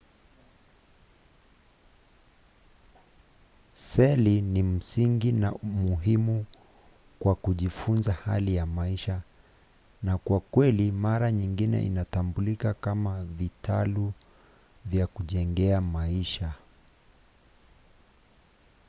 seli ni msingi na muhimu kwa kujifunza hali ya maisha na kwa kweli mara nyingi inatambulika kama vitalu vya kujenga maisha